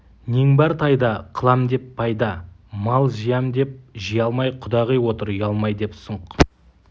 нең бар тайда қылам деп пайда мал жиям деп жия алмай құдағи отыр ұялмай деп сұңқ